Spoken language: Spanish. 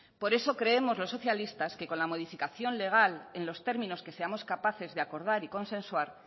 por eso creemos los socialistas que con la modificación legal en los términos que seamos capaces de acordar y consensuar